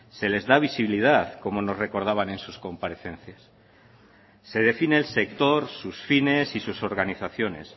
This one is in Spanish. se les da visibilidad como nos recordaban en sus comparecencias se define el sector sus fines y sus organizaciones